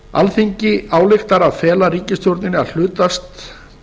alþingi ályktar að fela ríkisstjórninni að hlutast